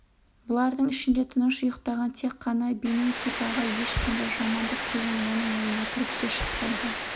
бұлардың ішінде тыныш ұйықтаған тек қана бенедикт ағай ешқандай жамандық деген оның ойына кіріп те шықпайды